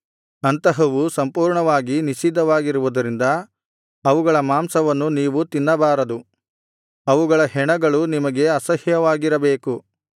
ಅಂತಹವು ಸಂಪೂರ್ಣವಾಗಿ ನಿಷಿದ್ಧವಾಗಿರುವುದರಿಂದ ಅವುಗಳ ಮಾಂಸವನ್ನು ನೀವು ತಿನ್ನಬಾರದು ಅವುಗಳ ಹೆಣಗಳು ನಿಮಗೆ ಅಸಹ್ಯವಾಗಿರಬೇಕು